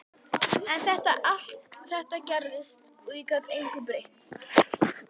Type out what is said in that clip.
En allt þetta gerðist og ég gat engu breytt.